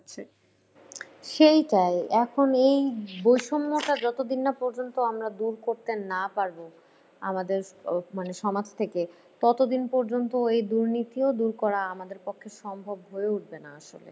সেইটাই। এখন এই বৈষম্যটা যতদিন না পর্যন্ত আমরা দূর করতে না পারবো আমাদের মানে সমাজ থেকে ততোদিন পর্যন্ত এই দুর্নীতিও দূর করা আমাদের পক্ষে সম্ভব হয়ে উঠবে না আসলে।